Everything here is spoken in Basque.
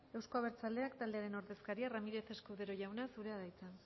euzko abertzaleak taldearen ordezkaria ramírez escudero jauna zurea da hitza